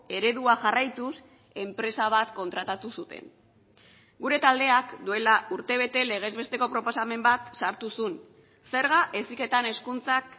eredua jarraituz enpresa bat kontratatu zuten gure taldeak duela urtebete legez besteko proposamen bat sartu zuen zerga heziketan hezkuntzak